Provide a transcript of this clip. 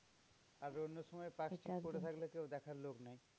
আর অন্য সময় পার্কস্ট্রিট পরে থাকলে কেউ দেখার লোক নেই।